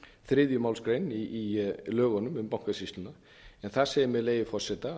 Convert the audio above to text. þriðju málsgrein í lögunum um bankasýsluna þar segir með leyfi forseta